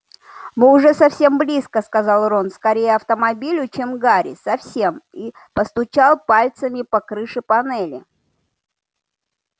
мы уже совсем близко сказал рон скорее автомобилю чем гарри совсем и постучал пальцами по крыше панели